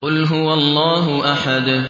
قُلْ هُوَ اللَّهُ أَحَدٌ